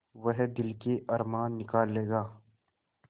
वह दिल के अरमान निकाल लेगा